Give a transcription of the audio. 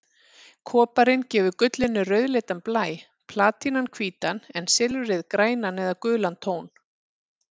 Koparinn gefur gullinu rauðleitan blæ, platínan hvítan en silfrið grænan eða gulan tón.